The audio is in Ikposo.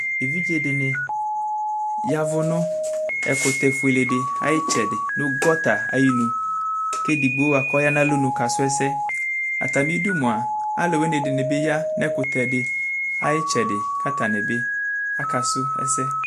ɛvidzɛ dini yavʋ nʋ ɛkʋtɛ ƒʋɛlɛ di ayi itsɛdi nʋ gutter ayinʋ kʋ ɛdigbɔ bʋakʋ ɔyanʋ alɔnʋ ka srɔ ɛsɛ, atami idʋ mʋa alʋwini dini bi ya nʋ ɛkʋtɛ di ayi itsɛdi kʋ atani bi aka sʋ ɛsɛ